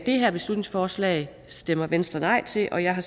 det her beslutningsforslag stemmer venstre nej til og jeg har